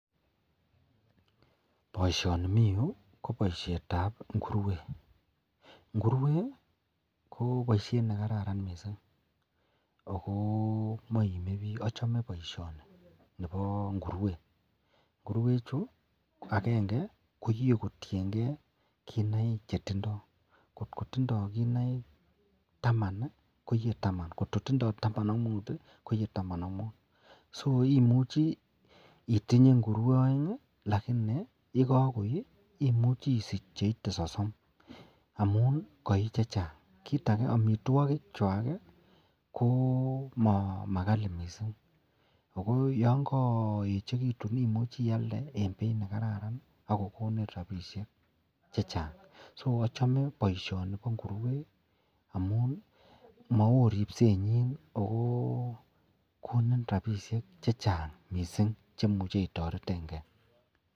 Boishoni mii yuu ko boishetab ngurwet, ngurwet ko boishet nekararan kot mising, achome boishoni nebo ngurwet, ngurwechu ko akeng'e ko iyee kotieng'e kinaik chetienge, kot kotindo kinaik taman koiye tama, kot kotindo taman ak muut koiye taman ak muut, so imuche itinye ngurwek oeng lakini yekokoi imuche isich cheite sosom amun koii chechang, kiit akee amitwokikwak ko makali mising, ak ko yoon koechekitun imuche ialde en beit nekararan ak ko konin rabishek chechang, so ochome boishoni bo ngurwet amun maoo ribsenyin ak ko konin rabishek chechang mising chemuche itoreteng'e.